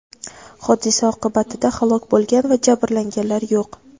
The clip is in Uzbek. Hodisa oqibatida halok bo‘lgan va jabrlanganlar yo‘q.